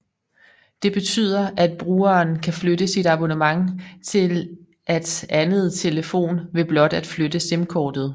Det betyder at brugeren kan flytte sit abonnement til at anden telefon ved blot at flytte simkortet